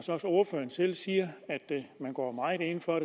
ordføreren også selv siger at man går meget ind for at